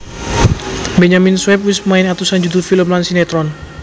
Benyamin Sueb wis main atusan judul film lan sinetron